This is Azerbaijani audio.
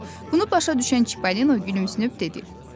Bunu başa düşən Çippolino gülümsünüb dedi: